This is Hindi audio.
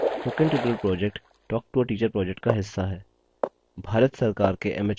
spoken tutorial project talktoateacher project का हिस्सा है